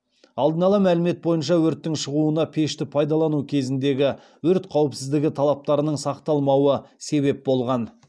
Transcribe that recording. алдын ала мәлімет бойынша өрттің шығуына пешті пайдалану кезіндегі өрт қауіпсіздігі талаптарының сақталмауы себеп болған